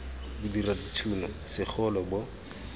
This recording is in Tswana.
bo dira dithuno segolo bo